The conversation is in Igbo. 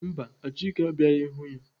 Mba, Achike abịaghị hụ ya.